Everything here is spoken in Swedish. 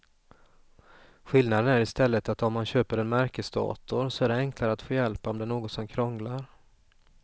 Skillnaden är i stället att om man köper en märkesdator så är det enklare att få hjälp om det är något som krånglar.